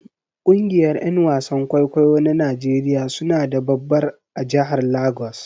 Kungiyar Yan wasan kwaikwayo na Najeriya suna da babbar a jahar Lagos